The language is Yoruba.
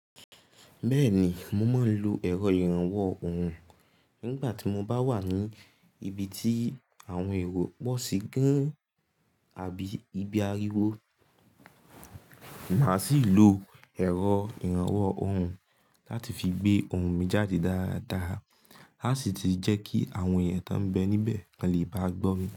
Bẹ́ẹ̀ni, mo máa ń lo ẹ̀rọ ìrànwọ́ ohùn nígbà tí mo bá wà ní ibi tí àwọn èrò pọ̀ sí gán àbí ibi ariwo. Màá sì ń lo ẹ̀rọ ìrànwọ́ ohùn láti fi gbé ohùn mi jáde dáradára láti sì jẹ́ kí àwọn èèyàn tó ń bẹ níbẹ̀ lè bá gbọ́ mi.